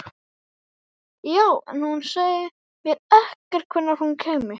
Já, en þú sagðir mér ekkert hvenær hún kæmi.